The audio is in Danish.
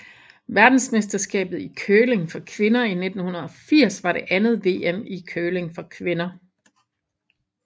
Verdensmesterskabet i curling for kvinder 1980 var det andet VM i curling for kvinder